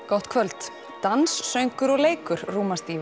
gott kvöld dans söngur og leikur rúmast í